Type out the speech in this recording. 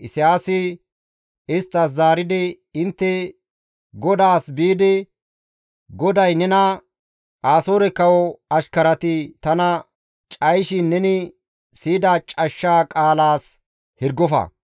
Isayaasi isttas zaaridi, «Intte godaassi biidi, ‹GODAY nena, Asoore kawo ashkarati tana cayishin neni siyida cashsha qaalaas hirgofa.